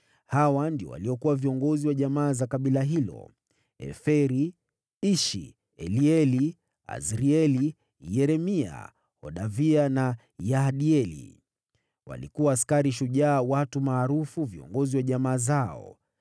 Hawa ndio waliokuwa viongozi wa jamaa za kabila hilo: Eferi, Ishi, Elieli, Azrieli, Yeremia, Hodavia na Yahdieli. Walikuwa askari shujaa watu maarufu, viongozi wa jamaa zao.